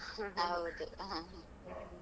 ಹೌದು ಹಾ